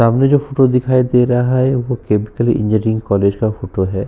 सामने जो फोटो दिखाई दे रहा है वो केमिकल इंजीनियरिंग कॉलेज का फोटो है।